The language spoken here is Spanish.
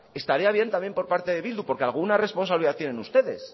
estaría bien también por parte de bildu porque alguna responsabilidad tienen ustedes